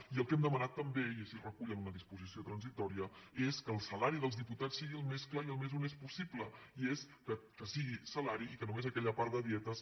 i el que hem demanat també i així es recull en una disposició transitòria és que el salari dels diputats sigui el més clar i el més honest possible i és que sigui salari i que només aquella part de dietes